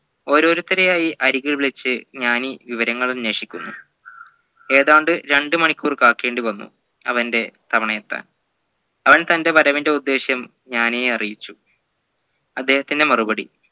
ഒരോരുത്തരെ ആയി അരികിൽ വിളിച്ച് ജ്ഞാനി വിവരങ്ങൾ അന്വേഷിക്കുന്നു ഏതാണ്ട് രണ്ടുമണിക്കൂർ കാക്കേണ്ടി വന്നു അവൻ്റെ സമയെത്താൻ അവൻ തൻ്റെ വരവിൻെറ ഉദ്ദേശം ജ്ഞാനിയെ അറിയിച്ചു അദ്ദേഹത്തിൻെറ മറുപടി